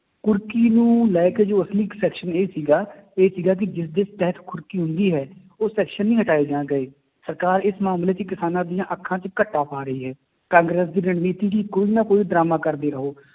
ਕੁਰਕੀ ਨੂੰ ਲੈ ਕੇ ਜੋ ਅਸਲੀ section ਇਹ ਸੀਗਾ ਇਹ ਸੀਗਾ ਕਿ ਜਿਸਦਾ ਤਹਿਤ ਹੁੰਦੀ ਹੈ, ਉਹ section ਨੀ ਹਟਾਏ ਜਾਂ ਗਏ ਸਰਕਾਰ ਇਸ ਮਾਮਲੇ ਚ ਕਿਸਾਨਾਂ ਦੀਆਂ ਅੱਖਾਂ ਚ ਘੱਟਾ ਪਾ ਰਹੀ ਹੈ ਕਾਂਗਰਸ ਦੀ ਰਣਨੀਤੀ ਕੀ ਕੋਈ ਨਾ ਕੋਈ ਡਰਾਮਾ ਕਰਦੇ ਰਹੋ।